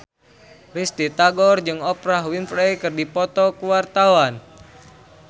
Risty Tagor jeung Oprah Winfrey keur dipoto ku wartawan